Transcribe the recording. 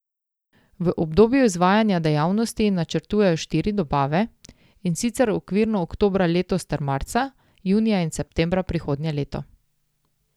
V obdobju izvajanja dejavnosti načrtujejo štiri dobave, in sicer okvirno oktobra letos ter marca, junija in septembra prihodnje leto.